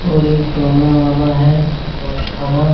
और एक तौलने वाला है बटखरा।